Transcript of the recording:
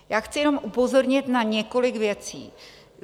Já chci jenom upozornit na několik věcí.